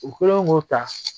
U kɛlen k'o ta